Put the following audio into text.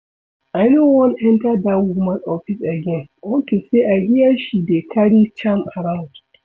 I no wan enter dat woman office again unto say I hear she dey carry charm around